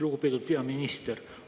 Lugupeetud peaminister!